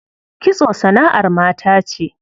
Kitso sana'ar mata ce.